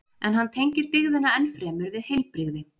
en hann tengir dygðina enn fremur við heilbrigði